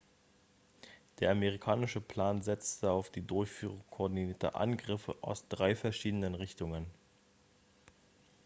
der amerikanische plan setzte auf die durchführung koordinierter angriffe aus drei verschiedenen richtungen